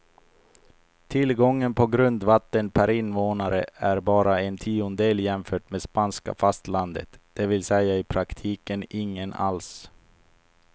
Tillgången på grundvatten per invånare är bara en tiondel jämfört med spanska fastlandet, det vill säga i praktiken ingen alls.